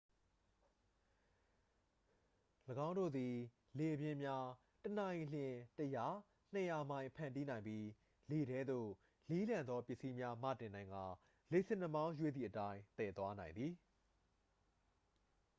၎င်းတို့သည် လေပြင်းများ တစ်နာရီလျှင် ၁၀၀-၂၀၀ မိုင် ဖန်တီးနိုင်ပြီး လေထဲသို့ လေးလံသော ပစ္စည်းများမတင်နိုင်ကာ လေဆင်နှာမောင်းရွေ့သည့်အတိုင်း သယ်သွားနိုင်သည်။